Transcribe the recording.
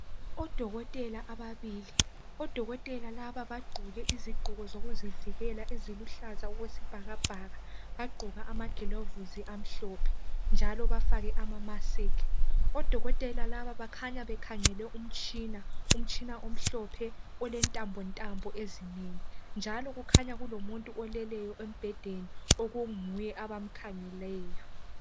Odokotela ababili abagqoke izigqoko zokuzivikela eziluhlaza okwesibhakabhaka. Bagqoka amagilavisi amhlophe njalo bafake ama mask. Odokotela laba bakhanya bekhangele umtshina omhlophe olentambontambo ezinengi njalo kukhanya kulomuntu olele embhedeni okunguye abamkhangeleyo.